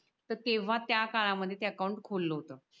त तेव्हा त्या काळामध्ये ते अकाउंट खोलल होत